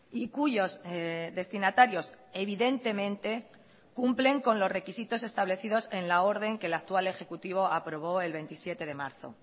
y cuyos destinatarios evidentemente cumplen con los requisitos establecidos en la orden que el actual ejecutivo aprobó el veintisiete de marzo